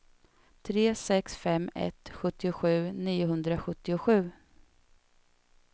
tre sex fem ett sjuttiosju niohundrasjuttiosju